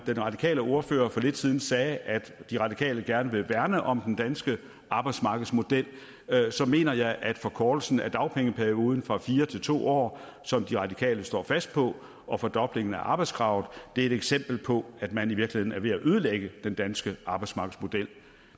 radikale ordfører for lidt siden sagde at de radikale gerne vil værne om den danske arbejdsmarkedsmodel så mener jeg at forkortelsen af dagpengeperioden fra fire til to år som de radikale står fast på og fordoblingen af arbejdskravet er et eksempel på at man i virkeligheden er ved at ødelægge den danske arbejdsmarkedsmodel